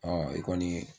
i kɔni